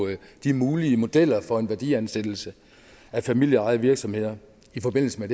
de mulige modeller for en værdiansættelse af familieejede virksomheder i forbindelse med